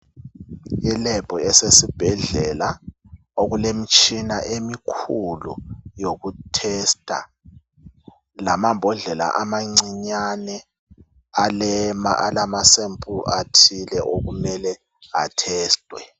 I lab esesibhedlela okulemitshina emikhulu yokuhlola lamambodlela amancinyane amama sample athile okumele a testwe.